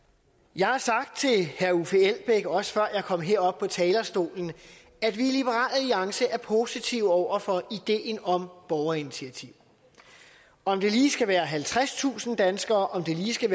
jeg har sagt til herre uffe elbæk også før jeg kom herop på talerstolen at vi i liberal alliance er positive over for ideen om borgerinitiativer om det lige skal være halvtredstusind danskere om det lige skal